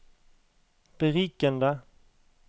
berikende